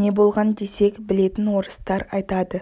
не болған десек білетін орыстар айтады